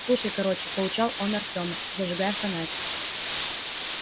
слушай короче поучал он артема зажигая фонарь